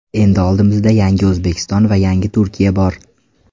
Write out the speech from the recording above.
Endi oldimizda yangi O‘zbekiston va yangi Turkiya bor.